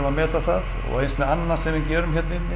að meta það og eins með annað sem við gerum hérna inni